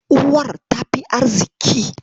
Uwar ta fi arziƙi.